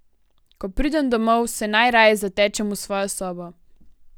Ko pridem domov, se najraje zatečem v svojo sobo.